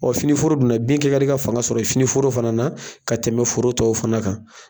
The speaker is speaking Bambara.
finiforo dun na bin kɛ ka di ka fanga sɔrɔ finioro fana na ka tɛmɛ foro tɔw fana kan.